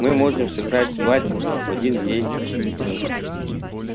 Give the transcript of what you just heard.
мы можем сыграть свадьбу в один день с мел